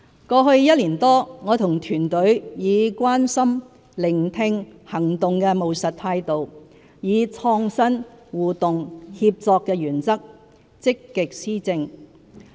過去一年多，我和團隊以"關心"、"聆聽"、"行動"的務實態度，以"創新"、"互動"、"協作"的原則，積極施政。